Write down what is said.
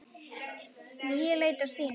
Ég leit á Stínu.